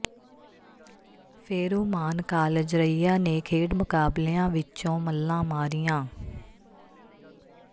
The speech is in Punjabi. ਫ਼ੇਰੂਮਾਨ ਕਾਲਜ ਰਈਆ ਨੇ ਖੇਡ ਮੁਕਾਬਲਿਆਂ ਵਿਚੋਂ ਮੱਲਾਂ ਮਾਰੀਆਂ